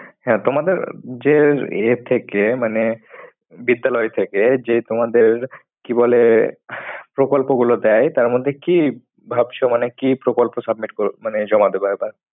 হ্যাঁ, তোমাদের যে এ থেকে। মানে বিদ্যালয় থেকে যে তোমাদের কি বলে প্রকল্প গুলো দেয়। তার মধ্যে কি ভাবছো? মানে কি প্রকল্প submit কর মানে জমা দেব এবার?